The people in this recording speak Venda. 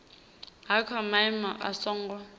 ha kha maimo a songo